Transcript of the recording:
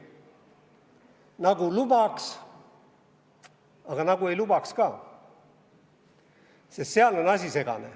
Nagu lubaks, aga nagu ei lubaks ka, sest seal on asi segane.